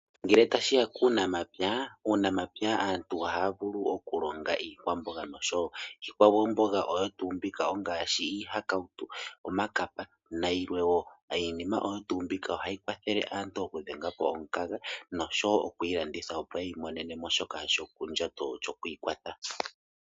Ngele tashiya kuunamapya, Uunamapya aantu ohaya vulu okulonga iikwamboga nosho tuu. Iikwamboga oyo tuu mbyoka ngaashi, iihakautu, omakapa nayilwe woo. Iinima oyo tuu mbika ohayi kwathele aantu oku dhengapo omukaga, nosho wo okuyi landitha opo yiimonenemo shoka shomondjato, shokwii kwatha.